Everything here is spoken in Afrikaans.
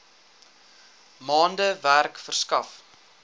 maande werk verskaf